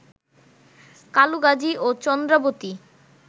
কালুগাজী ও চন্দ্রাবতী